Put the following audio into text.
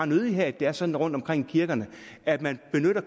nødig vil have at det er sådan rundtomkring i kirkerne at man benytter